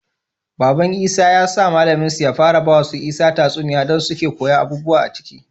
Baban isa ya sa mallamin su ya fara bawa su isa tatsuniya dan suke koyan abubuwa aciki